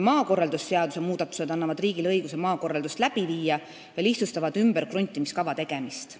Maakorraldusseaduse muudatused annavad riigile õiguse maakorraldust läbi viia ja lihtsustavad ümberkruntimiskava tegemist.